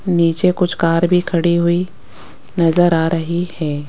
नीचे कुछ कार भी खड़ी हुई नजर आ रही हैं।